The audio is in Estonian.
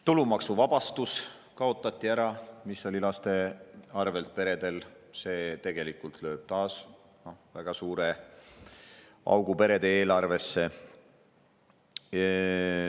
Tulumaksuvabastus, mis oli lastega peredel, kaotati ära – see lööb taas väga suure augu perede eelarvesse.